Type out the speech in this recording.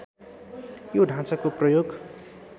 यो ढाँचाको प्रयोग